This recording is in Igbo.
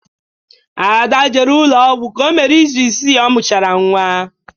Ada jere ụlọ ọgwụ ka o mere izu isii ọ mụchara nwa.